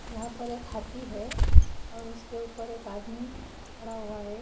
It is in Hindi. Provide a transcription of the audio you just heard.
यहा पर एक हाथी है और उसके ऊपर एक आदमी खड़ा हुआ है।